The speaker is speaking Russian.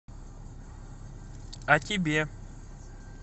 о тебе